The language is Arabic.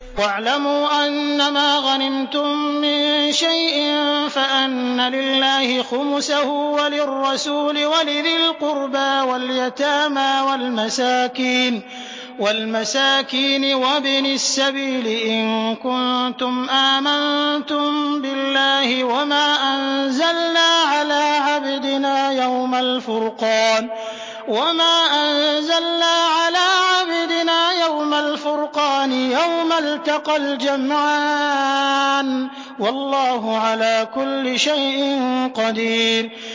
۞ وَاعْلَمُوا أَنَّمَا غَنِمْتُم مِّن شَيْءٍ فَأَنَّ لِلَّهِ خُمُسَهُ وَلِلرَّسُولِ وَلِذِي الْقُرْبَىٰ وَالْيَتَامَىٰ وَالْمَسَاكِينِ وَابْنِ السَّبِيلِ إِن كُنتُمْ آمَنتُم بِاللَّهِ وَمَا أَنزَلْنَا عَلَىٰ عَبْدِنَا يَوْمَ الْفُرْقَانِ يَوْمَ الْتَقَى الْجَمْعَانِ ۗ وَاللَّهُ عَلَىٰ كُلِّ شَيْءٍ قَدِيرٌ